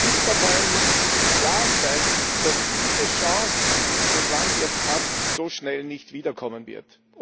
Die Konfliktparteien müssen sich im Klaren sein, dass diese Chance, die das Land jetzt hat, so schnell nicht wiederkommen wird.